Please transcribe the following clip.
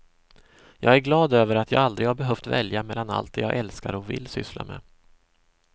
Jag är glad över att jag aldrig har behövt välja mellan allt det jag älskar och vill syssla med.